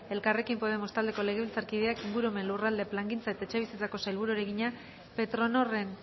elkarrekin podemos taldeko legebiltzarkideak ingurumen lurralde plangintza eta etxebizitzako sailburuari egina petronorren